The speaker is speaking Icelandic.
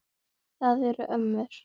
Það eru ömmur.